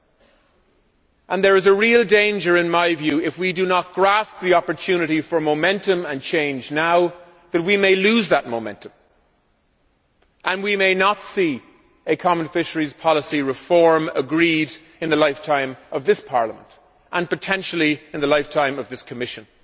In my view, there is a real danger that, if we do not grasp the opportunity for momentum and change now, we may lose that momentum and may not see a common fisheries policy reform agreed in the lifetime of this Parliament and potentially in the lifetime of this Commission.